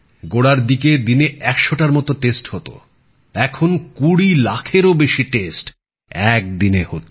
গোড়ার দিকে দিনে একশোটার মত নমুনা পরীক্ষা হত এখন কুড়ি লাখেরও বেশী পরীক্ষা একদিনে হচ্ছে